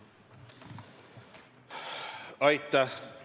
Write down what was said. Aitäh!